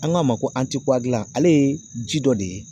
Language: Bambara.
An k'a ma ko ale ye ji dɔ de ye